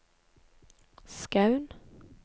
Skaun